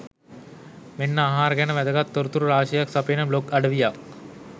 මෙන්න ආහාර ගැන වැදගත් තොරතුරු රාශියක් සපයන බ්ලොග් අවවියක්.